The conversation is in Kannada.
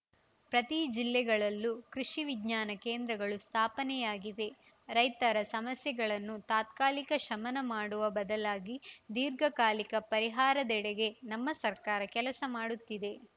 ಪ್ರತಿ ಜಿಲ್ಲೆಗಳಲ್ಲೂ ಕೃಷಿ ವಿಜ್ಞಾನ ಕೇಂದ್ರಗಳು ಸ್ಥಾಪನೆಯಾಗಿವೆ ರೈತರ ಸಮಸ್ಯೆಗಳನ್ನು ತಾತ್ಕಾಲಿಕ ಶಮನ ಮಾಡುವ ಬದಲಾಗಿ ದೀರ್ಘಕಾಲಿಕ ಪರಿಹಾರದೆಡೆಗೆ ನಮ್ಮ ಸರ್ಕಾರ ಕೆಲಸ ಮಾಡುತ್ತಿದೆ